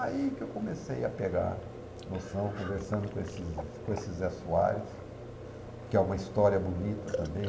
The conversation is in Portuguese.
Aí que eu comecei a pegar noção, conversando com esses com esses Zé Soares, que é uma história bonita também.